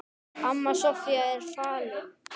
Amma Soffía er fallin.